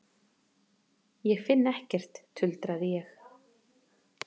Ég finn ekkert, tuldraði ég.